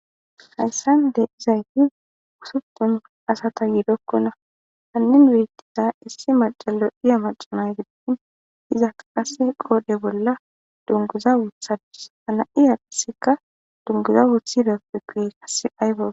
hayssande izay hi wusuppun asata yiidokkona hanin wiyetida issi macalo iya macana gidin iza kaqase qoode bolla dunguza wuthadus hana'iya dhiseka dunguza wuthi dappekuye kassi aybaa